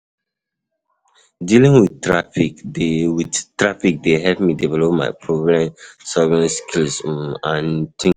Dealing with traffic dey with traffic dey help me develop my problem-solving skills um and think critically.